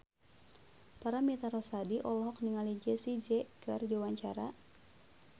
Paramitha Rusady olohok ningali Jessie J keur diwawancara